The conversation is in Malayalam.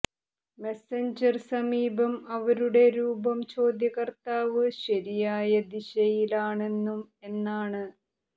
മെസഞ്ചർ സമീപം അവരുടെ രൂപം ചോദ്യകർത്താവ് ശരിയായ ദിശയിലാണെന്നും എന്നാണ്